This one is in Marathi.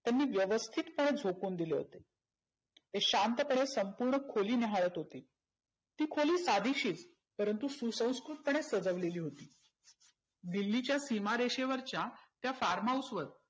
त्यांनी व्यवस्थित पणे झोकावून दिले होते. ते शांत पणे संपुर्ण खोली न्याहळत होते. ती खोली कायदेशिर परंतु सुसंकृत पणे सजवलेली होती. दिल्लीच्या सिमारेषेवरच्या त्या farm house वर